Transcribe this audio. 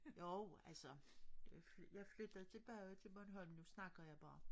Jo altså jeg flyttede tilbage til Bornholm nu snakker jeg bare